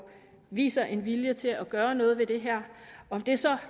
viser en vilje til at gøre noget ved det her om det så